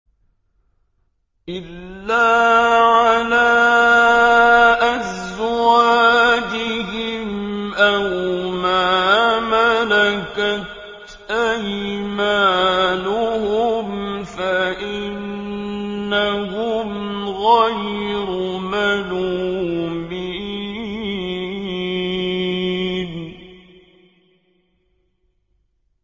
إِلَّا عَلَىٰ أَزْوَاجِهِمْ أَوْ مَا مَلَكَتْ أَيْمَانُهُمْ فَإِنَّهُمْ غَيْرُ مَلُومِينَ